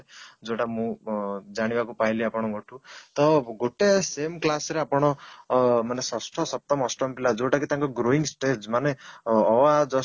ଯୋଉଟା ମୁଁ ଅଂ ଜାଣିବାକୁ ପାଇଲି ଆପଣଙ୍କ ଠୁ ତ ଗୋଟେ same class ରେ ଆପଣ ଅଂ ମାନେ ଷଷ୍ଠ, ସପ୍ତମ, ଅଷ୍ଟମ ପିଲା ଯୋଉଟା କି ତାଙ୍କର growing stage ମାନେ ଅ ଆ just